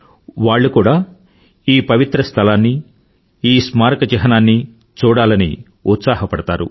వాళ్ళు కూడా ఈ పవిత్ర స్థలాన్ని ఈస్మారక చిహ్నాన్ని చూడాలనికి ఉత్సాహపడతారు